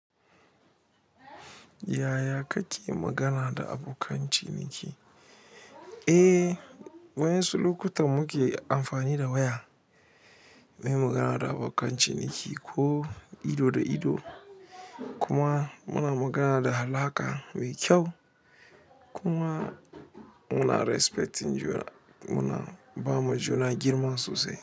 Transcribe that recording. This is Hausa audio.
Yaya kake magana da abokan ciniki? Eh, wa'yansu lokutan muke amfani da waya muyi magana da abokan ciniki ko ido da ido. Kuma muna magana da halaƙa mai kyau kuma mune respecting juna, muna bama juna girma sosai.